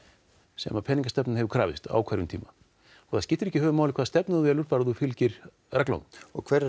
sem peningastefnan hefur krafist á hverjum tíma það skiptir ekki höfuðmáli hvaða stefnu þú velur bara ef þú fylgir reglunum og hverjar